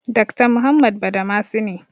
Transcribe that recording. Dakta Muhammad Badamasi ne.